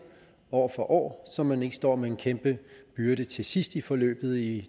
år for år så man ikke står med en kæmpe byrde til sidst i forløbet i